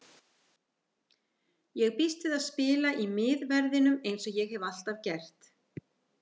Ég býst við að spila í miðverðinum eins og ég hef alltaf gert.